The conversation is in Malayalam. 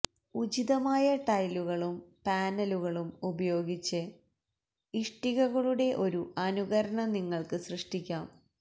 ഉചിതമായ ടൈലുകളും പാനലുകളും ഉപയോഗിച്ച് ഇഷ്ടികകളുടെ ഒരു അനുകരണം നിങ്ങൾക്ക് സൃഷ്ടിക്കാം